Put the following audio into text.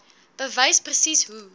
bewys presies hoe